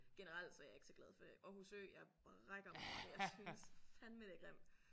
Generelt så er jeg ikke så glad for Aarhus Ø jeg brækker mig over det jeg synes fandeme det er grimt